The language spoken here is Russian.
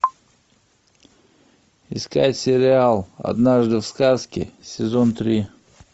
искать сериал однажды в сказке сезон три